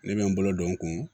Ne bɛ n bolo don n kun